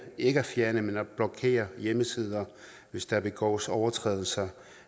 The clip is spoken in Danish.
ikke at fjerne men at blokere hjemmesider hvis der begås overtrædelser